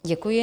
Děkuji.